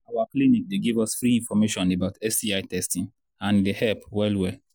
our clinic they give us free information about sti testing and he they help well well